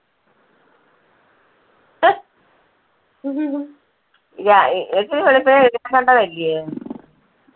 നിനക്ക് വെളുപ്പിനെ എഴുന്നേൽക്കണ്ടത് അല്ലയോ?